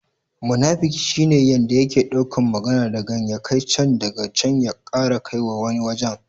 Munafiki shi ne yanda yake dauka magana dagan ya kai can, daga can ya ƙara kaiwa wani wajen.